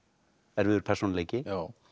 erfiður persónuleiki